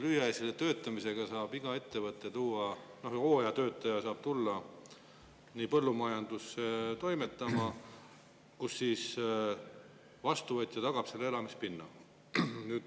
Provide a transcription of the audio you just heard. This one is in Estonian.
Lühiajaliseks töötamiseks saab iga ettevõte tuua, hooajatöötaja saab tulla põllumajandusse toimetama, kus siis vastuvõtja tagab talle elamispinna.